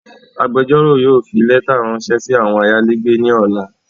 Agbẹjọ́rò yóò fi lẹ́ta ráńṣẹ́ sí àwọn ayálégbé ní ọ̀la